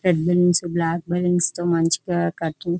admins black balloons తో మంచిగా curtains --